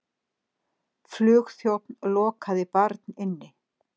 Flugþjónn lokaði barn inni